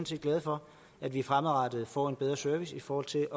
set glade for at vi fremadrettet får en bedre service i forhold til